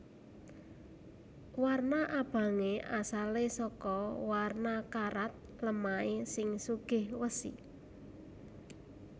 Warna abangé asalé saka warna karat lemahé sing sugih wesi